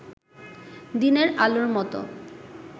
দিনের আলোর মতো